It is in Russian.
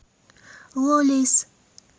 лолис